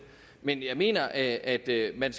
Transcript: men jeg mener at man